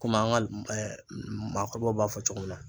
Komi an ka maakɔrɔbaw b'a fɔ cogo min na.